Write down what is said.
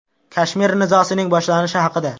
Kashmir nizosining boshlanishi haqida.